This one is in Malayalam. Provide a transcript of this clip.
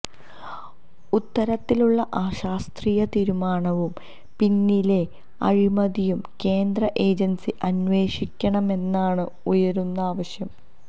ഇത്തരത്തിലുള്ള അശാസ്ത്രീയ നിര്മാണവും പിന്നിലെ അഴിമതിയും കേന്ദ്ര ഏജന്സി അന്വഷിക്കണമെന്നാണ് ഉയരുന്ന ആവശ്യം